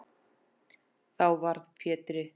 Þá varð Pétri